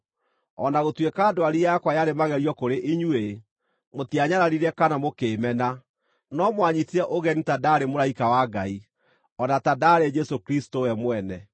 O na gũtuĩka ndwari yakwa yarĩ magerio kũrĩ inyuĩ, mũtianyararire kana mũkĩĩmena, no mwanyiitire ũgeni ta ndaarĩ mũraika wa Ngai, o na ta ndaarĩ Jesũ Kristũ we mwene.